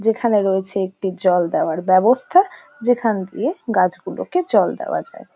যেখানে রয়েছে একটি জল দেওয়ার ব্যাবস্থা যেখান দিয়ে গাছগুলোকে জল দেওয়া যায়।